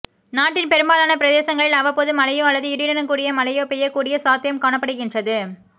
நாட்டின் பெரும்பாலான பிரதேசங்களில் அவ்வப்போது மழையோ அல்லது இடியுடன் கூடிய மழையோ பெய்யக் கூடிய சாத்தியம் காணப்படுகின்றது